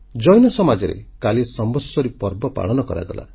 ଜୈନ ସମାଜରେ କାଲି ସମ୍ବତ୍ସରୀ ପର୍ବ ପାଳନ କରାଗଲା